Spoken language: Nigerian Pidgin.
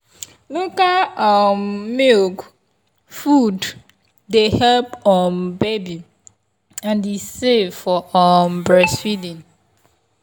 local um milk food dey help um baby and e safe for um breastfeeding.